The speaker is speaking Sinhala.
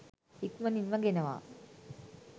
ඉක්මනින්ම ගෙනවා